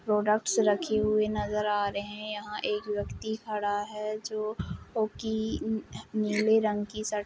Products रखे हुए नजर आ रहे हैं। यहाँ एक व्यक्ति खड़ा हैं जो हाकी उम नीले रंग की शर्ट --